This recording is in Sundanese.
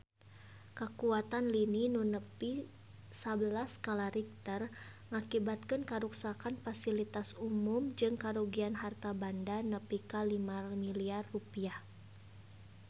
Kakuatan lini nu nepi sabelas skala Richter ngakibatkeun karuksakan pasilitas umum jeung karugian harta banda nepi ka 5 miliar rupiah